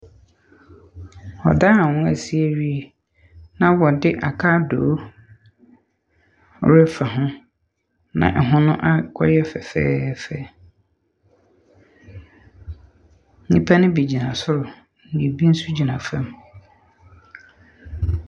Ɔdan a wɔasi awie na wɔde akadoo refa ho, na ɛho no akɔyɛ fɛfɛɛfɛ. Nnipa ne bi gyina sor na bi nso gyina fem.